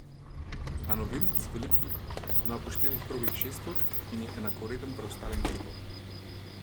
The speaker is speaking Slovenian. A novinec v ligi ima po štirih krogih šest točk in je enakovreden preostalim klubom.